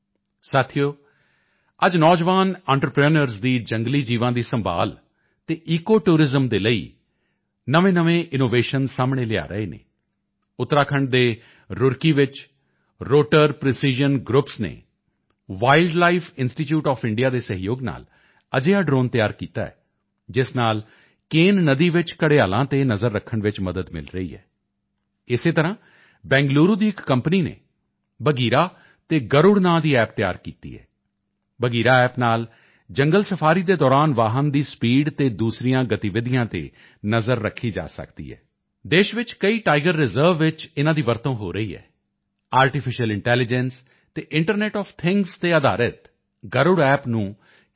ਸਾਥੀਓ ਅੱਜ ਨੌਜਵਾਨ ਐਂਟਰਪ੍ਰੀਨਿਓਰਸ ਦੀ ਜੰਗਲੀ ਜੀਵਾਂ ਦੀ ਸੰਭਾਲ ਅਤੇ ਈਕੋ ਟੂਰਿਜ਼ਮ ਦੇ ਲਈ ਨਵੇਂਨਵੇਂ ਇਨੋਵੇਸ਼ਨ ਸਾਹਮਣੇ ਲਿਆ ਰਹੇ ਹਨ ਉੱਤਰਾਖੰਡ ਦੇ ਰੁੜ੍ਹਕੀ ਵਿੱਚ ਰੋਟਰ ਪ੍ਰੀਸੀਜ਼ਨ ਗਰੁੱਪਸ ਨੇ Wildlife Institute of India ਦੇ ਸਹਿਯੋਗ ਨਾਲ ਅਜਿਹਾ ਡ੍ਰੋਨ ਤਿਆਰ ਕੀਤਾ ਹੈ ਜਿਸ ਨਾਲ ਕੇਨ ਨਦੀ ਵਿੱਚ ਘੜਿਆਲਾਂ ਤੇ ਨਜ਼ਰ ਰੱਖਣ ਵਿੱਚ ਮਦਦ ਮਿਲ ਰਹੀ ਹੈ ਇਸੇ ਤਰ੍ਹਾਂ ਬੈਂਗਲੂਰੂ ਦੀ ਇਕ ਕੰਪਨੀ ਨੇ ਬਘੀਰਾ ਅਤੇ ਗਰੁੜ ਨਾਂ ਦਾ ਐਪ ਤਿਆਰ ਕੀਤਾ ਹੈ ਬਘੀਰਾ ਐਪ ਨਾਲ ਜੰਗਲ ਸਫਾਰੀ ਦੇ ਦੌਰਾਨ ਵਾਹਨ ਦੀ ਸਪੀਡ ਅਤੇ ਦੂਸਰੀਆਂ ਗਤੀਵਿਧੀਆਂ ਤੇ ਨਜ਼ਰ ਰੱਖੀ ਜਾ ਸਕਦੀ ਹੈ ਦੇਸ਼ ਵਿੱਚ ਕਈ ਟਾਈਵਗਰ ਰਿਜ਼ਰਵ ਵਿੱਚ ਇਨ੍ਹਾਂ ਦੀ ਵਰਤੋਂ ਹੋ ਰਹੀ ਹੈ ਆਰਟੀਫਿਸ਼ੀਅਲ ਇੰਟੈਲੀਜੈਂਸ ਅਤੇ ਇੰਟਰਨੈੱਟ ਆਫ ਥਿੰਗਜ਼ ਤੇ ਅਧਾਰਿਤ ਗਰੁੜ ਐਪ ਨੂੰ ਕਿਸੇ ਸੀ